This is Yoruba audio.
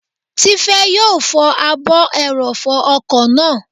Tifẹ́ yóò fọ ààbò ẹrọ̀fọ̀ ọkọ̀ náà